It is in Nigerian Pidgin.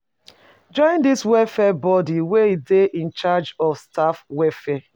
Join di welfare body wey dey in charge of staff welfare